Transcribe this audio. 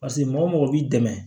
Paseke mɔgɔ mɔgɔ b'i dɛmɛ